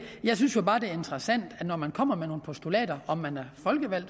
jeg synes jo bare det er interessant at når man kommer med nogle postulater om man er folkevalgt